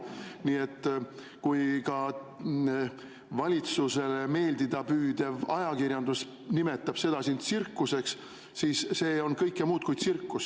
Nii et kui ka valitsusele meeldida püüdev ajakirjandus nimetab seda tsirkuseks, siis see on kõike muud kui tsirkus.